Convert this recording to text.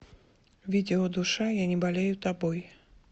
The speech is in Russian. видео душа я не болею тобой